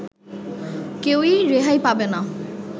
কেউই রেহাই পাবে না